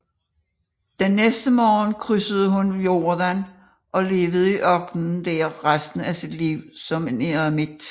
Den næste morgen krydsede hun Jordan og levede i ørkenen der resten af sit liv som en eremit